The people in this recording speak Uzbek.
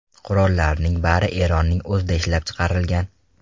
Qurollarning bari Eronning o‘zida ishlab chiqarilgan.